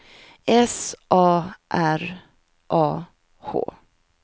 S A R A H